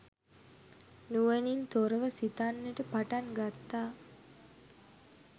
නුවණින් තොරව සිතන්නට පටන් ගත්තා